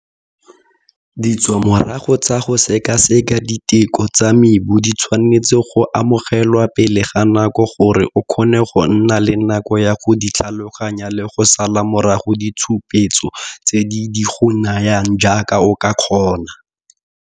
Ditswamorago tsa go sekaseka diteko tsa mebu di tshwanetse go amogelwa pele ga nako gore o kgone go nna le nako ya go di tlhaloganya le go sala morago ditshupetso tse di di go nayang jaaka o ka kgona.